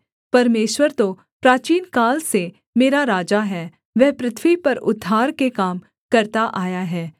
परमेश्वर तो प्राचीनकाल से मेरा राजा है वह पृथ्वी पर उद्धार के काम करता आया है